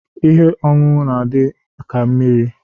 Ihe oñụñụ n'adị ka mmiri.